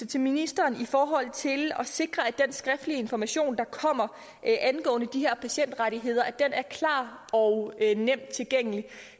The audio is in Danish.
til ministeren i forhold til at sikre at den skriftlige information der kommer angående de her patientrettigheder er klar og nemt tilgængelig